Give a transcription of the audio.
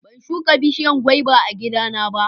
ban shuka bishiyan gwaba a gida na ba